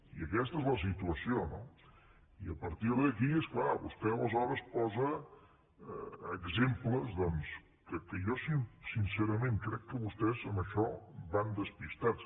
i aquesta és la situació no i a partir d’aquí és clar vostè aleshores posa exemples doncs que jo sincerament crec que vostès en això van despistats